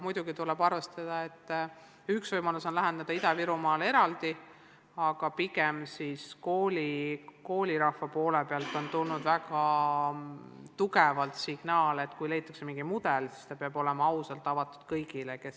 Muidugi tuleb arvestada, et üks võimalus on läheneda Ida-Virumaale eraldi, aga pigem on koolirahva poolt tulnud väga tugev signaal, et kui leitakse mingi mudel, siis see peab olema ausalt avatud kõigile.